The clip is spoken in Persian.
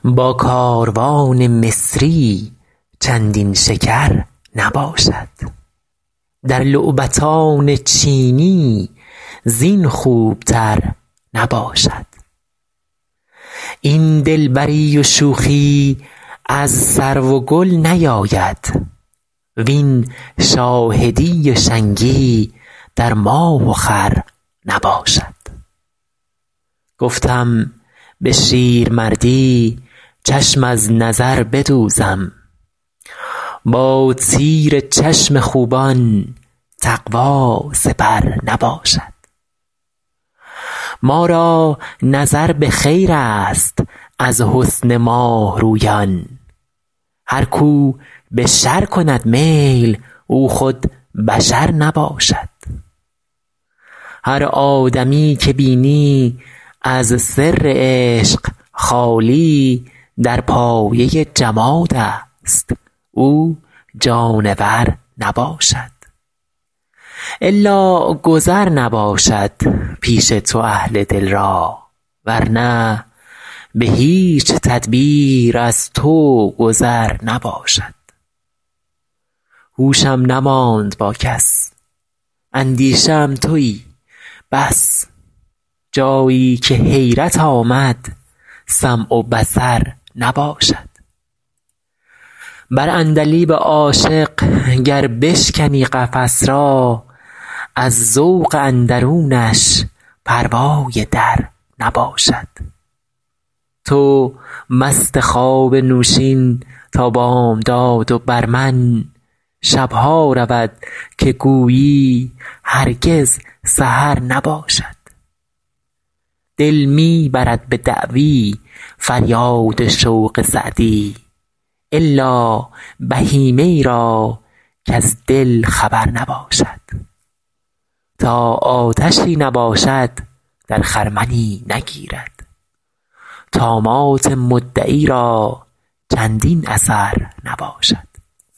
با کاروان مصری چندین شکر نباشد در لعبتان چینی زین خوبتر نباشد این دلبری و شوخی از سرو و گل نیاید وین شاهدی و شنگی در ماه و خور نباشد گفتم به شیرمردی چشم از نظر بدوزم با تیر چشم خوبان تقوا سپر نباشد ما را نظر به خیرست از حسن ماه رویان هر کو به شر کند میل او خود بشر نباشد هر آدمی که بینی از سر عشق خالی در پایه جمادست او جانور نباشد الا گذر نباشد پیش تو اهل دل را ور نه به هیچ تدبیر از تو گذر نباشد هوشم نماند با کس اندیشه ام تویی بس جایی که حیرت آمد سمع و بصر نباشد بر عندلیب عاشق گر بشکنی قفس را از ذوق اندرونش پروای در نباشد تو مست خواب نوشین تا بامداد و بر من شب ها رود که گویی هرگز سحر نباشد دل می برد به دعوی فریاد شوق سعدی الا بهیمه ای را کز دل خبر نباشد تا آتشی نباشد در خرمنی نگیرد طامات مدعی را چندین اثر نباشد